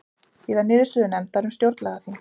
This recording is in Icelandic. Bíða niðurstöðu nefndar um stjórnlagaþing